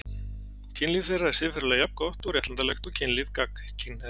Kynlíf þeirra er siðferðilega jafn gott og réttlætanlegt og kynlíf gagnkynhneigðra.